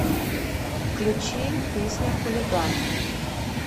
включи песня хулиган